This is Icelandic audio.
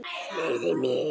Leyfðu mér!